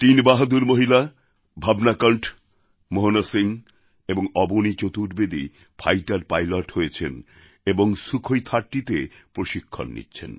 তিন বাহাদুর মহিলা ভাবনা কণ্ঠ মোহনা সিং এবং অবনী চতুর্বেদী ফাইটার পাইলট হয়েছেন এবং সুখোই30এ প্রশিক্ষণ নিচ্ছেন